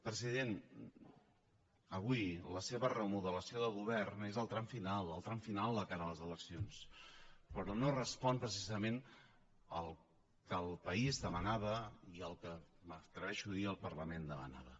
president avui la seva remodelació de govern és el tram final el tram final de cara a les eleccions però no respon precisament al que el país demanava i al que m’atreveixo a dir que el parlament demanava